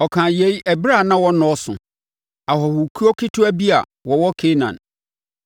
Ɔkaa yei ɛberɛ a na wɔnnɔɔso, ahɔhokuo ketewa bi a wɔwɔ Kanaan.